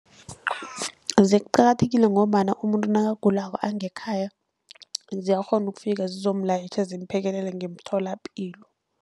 Ziqakathekile ngombana umuntu nakagulako angekhaya ziyakghona ukufika zizomulayitjha zimphekelele emtholapilo.